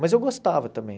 Mas eu gostava também.